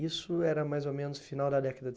Isso era mais ou menos final da década de